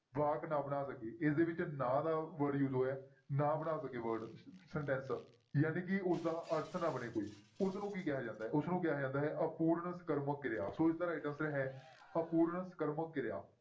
ਵਾਕ ਨਾ ਬਣਾ ਸਕੇ ਇਸਦੇ ਵਿੱਚ ਨਾਂਂ ਦਾ word use ਹੋਇਆ ਹੈ ਨਾ ਬਣਾ ਸਕੇ word sentence ਜਾਣੀਕਿ ਉਸਦਾ ਅਰਥ ਨਾ ਬਣੇ ਕੋਈ ਉਸਨੂੰ ਕੀ ਕਿਹਾ ਜਾਂਦਾ ਹੈ? ਉਸਨੂੰ ਕਿਹਾ ਜਾਂਦਾ ਹੈ ਅਪੂਰਨ ਸਕਰਮਕ ਕਿਰਿਆ, ਸੋ ਇਸਦਾ right answer ਹੈ ਅਪੂਰਨ ਸਕਰਮਕ ਕਿਰਿਆ।